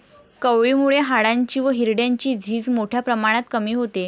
कवळी मुळे हाडांची व हिरड्यांची झीज मोठ्या प्रमाणात कमी होते.